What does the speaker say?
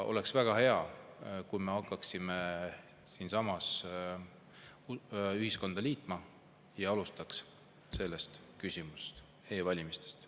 Oleks väga hea, kui me hakkaksime siinsamas ühiskonda liitma ja alustaks sellest küsimusest, e-valimistest.